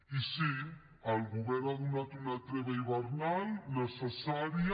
i sí el govern ha donat una treva hivernal necessària